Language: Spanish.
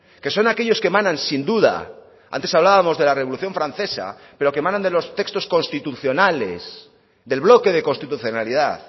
que son aquellos que emanan sin duda antes hablábamos de la revolución francesa pero que emanan de los textos constitucionales del bloque de constitucionalidad